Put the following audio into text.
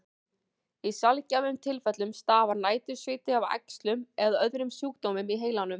Í sjaldgæfum tilfellum stafar nætursviti af æxlum eða öðrum sjúkdómum í heilanum.